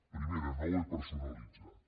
primera no ho he personalitzat